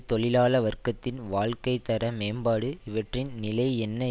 தொழிலாள வர்க்கத்தின் வாழ்க்கை தர மேம்பாடு ஆகியவற்றின் நிலை என்ன